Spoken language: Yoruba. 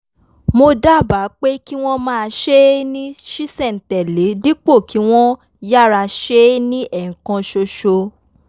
mo dábàá pé kí wọ́n máa ṣe é ní ṣísẹ̀-n-tẹ̀-lé dípò kí wọ́n yára ṣe é ní ẹ̀ẹ̀kan ṣoṣo